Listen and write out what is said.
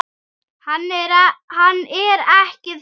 Hann er ekki þar.